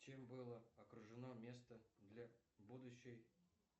чем было окружено место для будущей